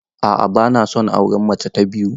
A'a bana son auren mace ta biyu.